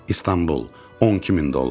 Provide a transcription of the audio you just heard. İstanbul, 12000 dollar.